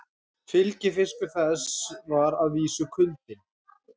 Fylgifiskur þess var að vísu kuldinn.